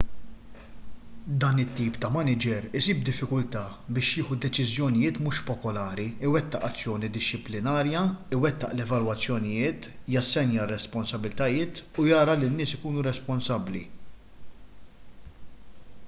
dan it-tip ta' maniġer isib diffikultà biex jieħu deċiżjonijiet mhux popolari iwettaq azzjoni dixxiplinarja iwettaq l-evalwazzjonijiet jassenja r-responsabbiltajiet u jara li n-nies ikunu responsabbli